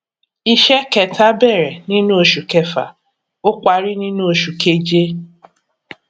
iṣẹ kẹta bẹrẹ nínú oṣù kẹfà ó parí nínú oṣù keje